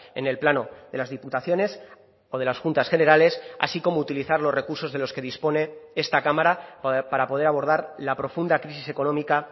en el plano de las diputaciones o de las juntas generales así como utilizar los recursos de los que dispone esta cámara para poder abordar la profunda crisis económica